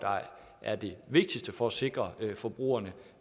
er det vigtigste for at sikre forbrugerne